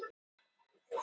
Myndir: Íslensk getspá.